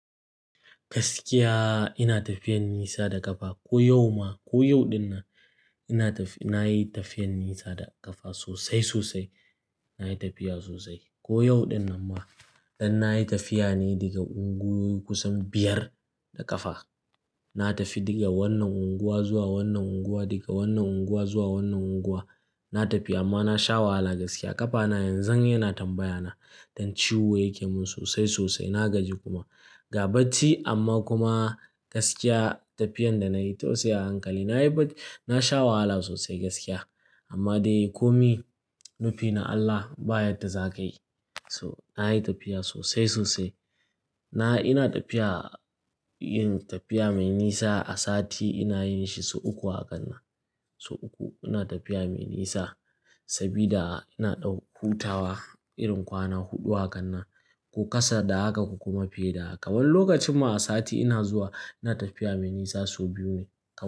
Gaskiya ina tafiyan nisa da ƙafa. Ko yau ma, ko yau dinnan ina tafi-- nayi tafiyan nisa da ƙafa sosai, sosai. Nayi tafiya sosai. Ko yau dinnan ma, dan nayi tafiya ne daga unguwoyi kusan biyar da ƙafa. Na tafi daga wannan unguwa zuwa wannan unguwa, daga wannan unguwa zuwa wannan unguwa. Na tafi amma na sha wahala gaskiya. Ƙafana yanzu yana tambaya na dan ciwo yake mun sosai, sosai. Na gaji kuma. Ga bacci amma kuma gaskiya tafiyan da nayi tausaya hankali. Nayi bac-- na sha wahala sosai gaskiya. Amma dai komi nufi na Allah baya da zakayi. So nayi tafiya sosai, sosai. Na-- ina tafiya, yin tafiya mai nisa a sati inayi shi sau uku hakan nan. Sau uku ina tafiya mai nisa sabida ina ɗan hutawa irin kwana huɗu hakan nan ko kasa da haka ko kuma fiye da haka. Wani lokacin ma a sati ina zuwa ina tafiya mai nisa sau biyu ne kawai.